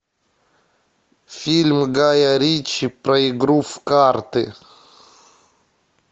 фильм гая ричи про игру в карты